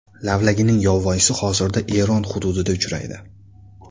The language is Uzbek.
Lavlagining yovvoyisi hozirda Eron hududida uchraydi.